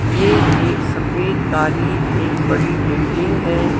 यह एक सफेद काली एक बड़ी बिल्डिंग है।